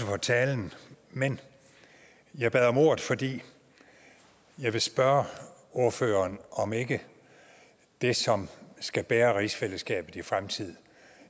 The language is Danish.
for talen men jeg bad om ordet fordi jeg vil spørge ordføreren om ikke det som skal bære rigsfællesskabet i fremtiden